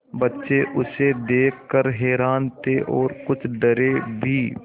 बच्चे उसे देख कर हैरान थे और कुछ डरे भी